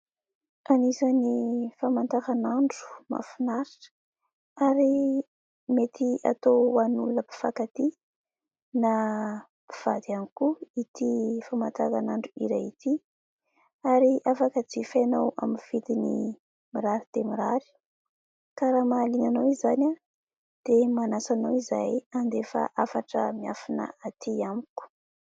Anisan'ny famataranandro mahafinaritra ary mety atao ho an'olona mpifankatia na mpivady ihany koa ity famataranandro iray ity. Ary afaka jifainao amin'ny vidiny mirary dia mirary. Ka raha mahaliana anao izany dia manasa anao izahay andefa hafatra miafina atỳ amiko.